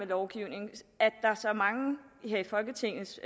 lovgivning at der er så mange i folketingets